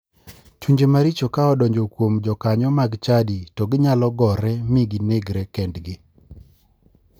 Chunje maricho ka odonjo kuom jokanyo mag chadi to ginyalo gore mi ginegre kendgi.